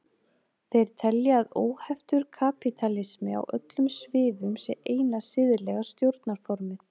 Þeir telja að óheftur kapítalismi á öllum sviðum sé eina siðlega stjórnarformið.